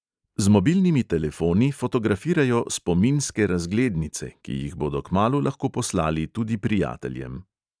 Z mobilnimi telefoni fotografirajo "spominske razglednice", ki jih bodo kmalu lahko poslali tudi prijateljem.